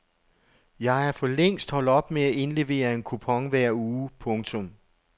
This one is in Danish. Jeg er for længst holdt op med at indlevere en kupon hver uge. punktum